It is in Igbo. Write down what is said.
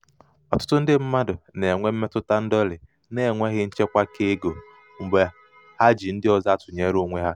ọtụtụ ndị mmadụ na-enwe mmetụta ndọlị n'enweghị nchekwa keego mgbe ha ji ndị ọzọ atụnyere onwe ha.